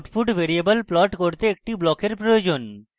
output variable plot করতে একটি ব্লকের প্রয়োজন